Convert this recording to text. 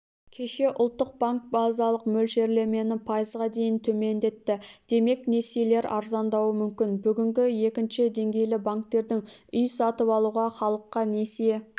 кеше ұлттық банк базалық мөлшерлемені пайызға дейін төмендетті демек несиелер арзандауы мүмкін бүгінге екінші деңгейлі банктердің үй сатып алуға халыққа несие